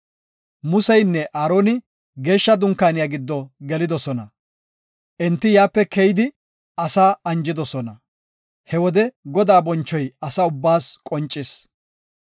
Museynne Aaroni Geeshsha Dunkaaniya giddo gelidosona; enti yaape keyidi asaa anjidosona. He wode Godaa bonchoy asa ubbaas qoncis.